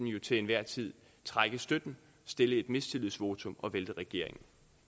jo til enhver tid trække støtten stille et mistillidsvotum og vælte regeringen